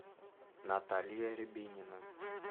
наталья рябинина